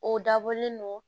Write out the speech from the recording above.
O dabɔlen don